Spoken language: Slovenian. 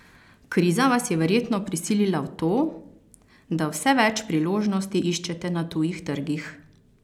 Kriza vas je verjetno prisilila v to, da vse več priložnosti iščete na tujih trgih?